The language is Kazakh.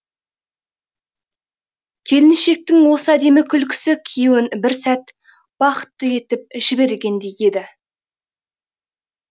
келіншектің осы әдемі күлкісі күйеуін бір сәт бақытты етіп жібергендей еді